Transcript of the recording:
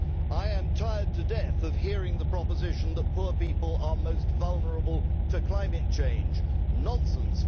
I am tired to death of hearing the proposition that poor people are most vulnerable to climate change nonsense!